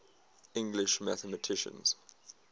english mathematicians